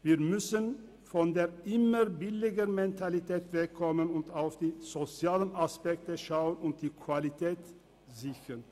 Wir müssen von der «Immer-billiger-Mentalität» wegkommen, die sozialen Aspekte prüfen und die Qualität sichern.